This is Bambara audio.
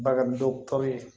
Bagandɔgɔtɔrɔ ye